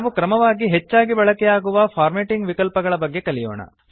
ನಾವು ಕ್ರಮವಾಗಿ ಹೆಚ್ಚಾಗಿ ಬಳಕೆಯಾಗುವ ಫಾರ್ಮೇಟಿಂಗ್ ವಿಕಲ್ಪಗಳ ಬಗ್ಗೆ ಕಲಿಯೋಣ